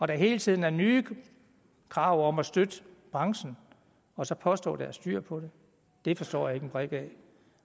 der hele tiden er nye krav om at støtte branchen og så påstår der er styr på det det forstår jeg ikke en brik af